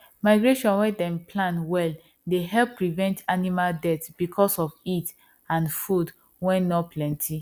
migration wen dem plan well dey help prevent animal death because of heat and food wen nor planty